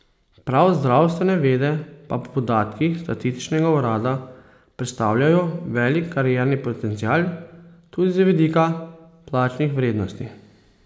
Prav zdravstvene vede pa po podatkih Statističnega urada predstavljajo velik karierni potencial, tudi z vidika plačnih vrednosti.